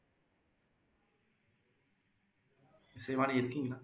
இசைவாணி இருக்கீங்களா